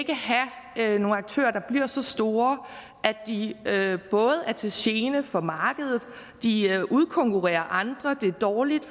have nogle aktører der bliver så store at de er til gene for markedet de udkonkurrerer andre og det er dårligt